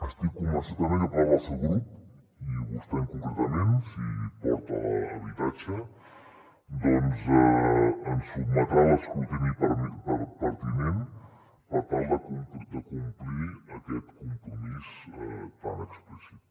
estic convençut també que part del seu grup i vostè concretament si porta habitatge doncs ens sotmetrà a l’escrutini pertinent per tal de complir aquest compromís tan explícit